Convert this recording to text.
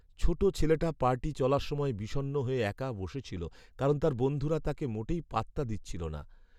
ছোটো ছেলেটা পার্টি চলার সময় বিষণ্ণ হয়ে একা বসেছিল কারণ তার বন্ধুরা তাকে মোটেই পাত্তা দিচ্ছিল না।